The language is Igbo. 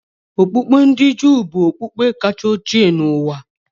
Okpukpe ndi Juu bụ okpukpe kacha ochie n'ụwa.